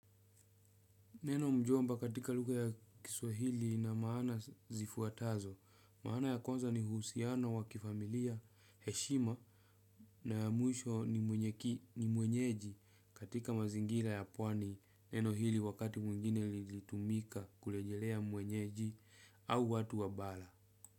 Neno mjomba katika lugha ya kiswahili ina maana zifuatazo, maana ya kwanza ni uhusiano wa kifamilia, heshima na ya mwisho ni mwenyeji katika mazingira ya pwani. Neno hili wakati mwingine ilitumika kurejelea mwenyeji au watu wa bara.